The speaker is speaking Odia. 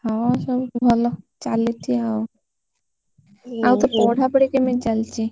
ହଁ ସବୁ ଭଲ ଚାଲିଛି ଆଉ ଆଉ ତୋ ପଢାପଢି କେମିତି ଚାଲିଛି?